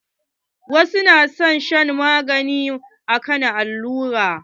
Wasu na son shan maganin akan allura.